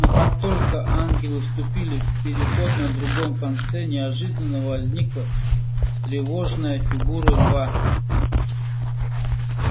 но как только ангелы вступили в переход на другом конце неожиданно возникла встревоженная фигура льва